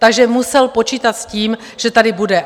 Takže musel počítat s tím, že tady bude.